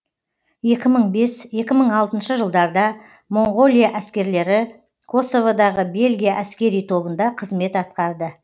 екі мың бес екі мың алтыншы жылдарда моңғолия әскерлері косоводағы бельгия әскери тобында қызмет атқарды